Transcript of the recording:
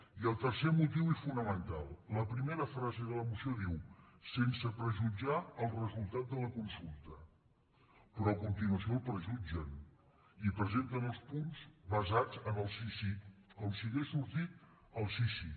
i el tercer motiu i fonamental la primera frase de la moció diu sense prejutjar el resultat de la consulta però a continuació el prejutgen i presenten els punts basats en el sí sí com si hagués sortit el sí sí